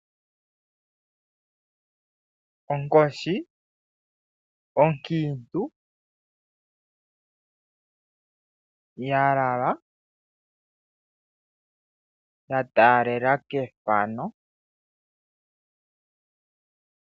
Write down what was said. Onkoshi onkiintu ya lala ya taalela kefano.